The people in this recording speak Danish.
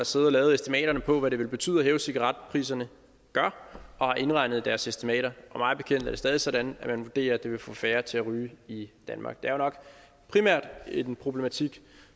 siddet og lavet estimaterne på hvad det vil betyde at hæve cigaretpriserne har indregnet det i deres estimater og mig bekendt er det stadig sådan at man vurderer at det vil få færre til at ryge i danmark det er nok primært en problematik